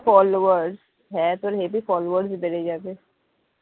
followers হ্যাঁ তোর heavy followers বেড়ে যাবে